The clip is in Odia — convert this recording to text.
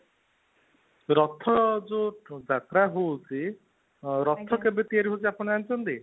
ରଥ ଜଉ ଯାତ୍ରା ହଉଛି, ରଥ କେବେ ତିଆରି ହେଉଛି ଆପଣ ଜାଣିଛନ୍ତି?